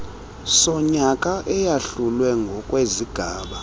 sonyaka eyahlulwe ngokwezigaba